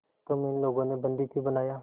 तुम्हें इन लोगों ने बंदी क्यों बनाया